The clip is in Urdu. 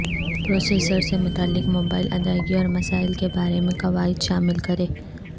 پروسیسرز سے متعلق موبائل ادائیگی اور مسائل کے بارے میں قواعد شامل کریں